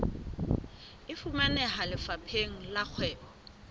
e fumaneha lefapheng la kgwebo